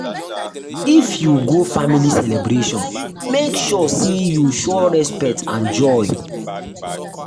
if you go family celebration make sure say you show respect and joy.